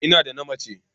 Ina da na mace.